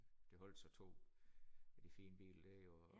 Der holdt så to af de fin bil der og